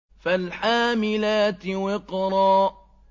فَالْحَامِلَاتِ وِقْرًا